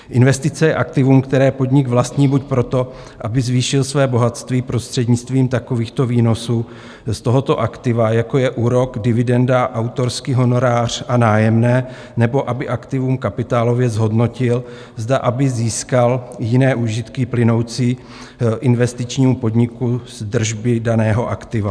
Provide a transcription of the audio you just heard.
Investice je aktivum, které podnik vlastní buď proto, aby zvětšil své bohatství prostřednictvím takovýchto výnosů z tohoto aktiva, jako je úrok, dividenda, autorský honorář a nájemné, nebo aby aktivum kapitálově zhodnotil, zde aby získal jiné užitky plynoucí investičnímu podniku z držby daného aktiva.